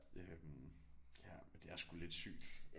Øh ja men det er sgu lidt sygt